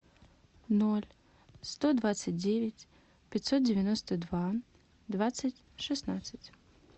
ноль сто двадцать девять пятьсот девяносто два двадцать шестнадцать